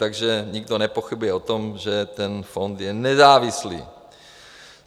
Takže nikdo nepochybuje o tom, že ten fond je nezávislý.